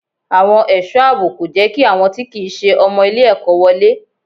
Àwọn ẹ̀sọ́ àbò kò jẹ́ kí àwọn tí kìí se ọmọ ilé ẹ̀kọ́ wọlé.